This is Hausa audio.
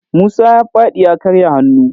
Musa ya faɗi ya karya hannu.